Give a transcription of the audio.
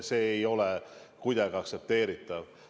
See ei ole kuidagi aktsepteeritav.